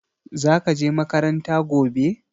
Zaka je makaranta gobe?